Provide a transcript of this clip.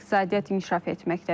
İqtisadiyyat inkişaf etməkdədir.